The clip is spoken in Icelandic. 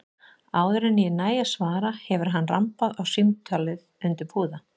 Áður en ég næ að svara hefur hann rambað á símtólið undir púða.